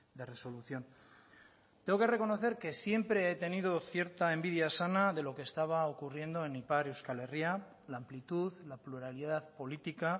de resolución tengo que reconocer que siempre he tenido cierta envidia sana de lo que estaba ocurriendo en ipar euskal herria la amplitud la pluralidad política